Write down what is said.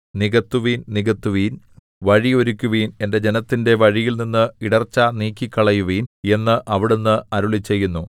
നികത്തുവിൻ നികത്തുവിൻ വഴി ഒരുക്കുവിൻ എന്റെ ജനത്തിന്റെ വഴിയിൽനിന്ന് ഇടർച്ച നീക്കിക്കളയുവിൻ എന്ന് അവിടുന്ന് അരുളിച്ചെയ്യുന്നു